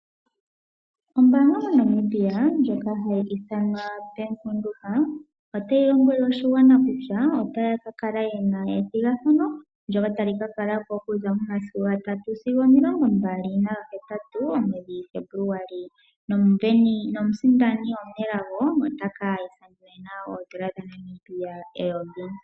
Ombaanga moNamibia ndjoka hayi ithanwa Bank Windhoek otayi tseyithile oshigwana, kutya otayi ka kala yi na ethigathano ndyoka tali ka kala po okuza momasiku gatatu sigo omilongo mbali naga hetatu gaFebuluali. Omusindani omunelago otaka mona oodola dhaNamibia eyovi.